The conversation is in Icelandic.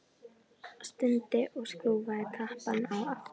Stundi og skrúfaði tappann á aftur.